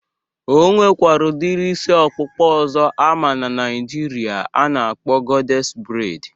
E nwekwara udiri isi ọkpụkpa ọzọ ama na Naịjirịa a na-akpọ gọdés breid